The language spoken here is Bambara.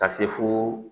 Ka se fo